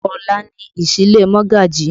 Ọ̀la ni ìsílé Mogaji